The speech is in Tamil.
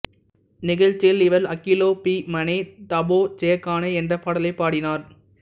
நிகழ்ச்சியில் இவர் அகிலோ பிமனே தபோ ஜெயகானே என்றப் பாடலைப் பாடினார்